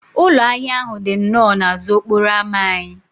Ụlọ ahịa ahụ dị nnọọ n'azụ okporo ámá anyị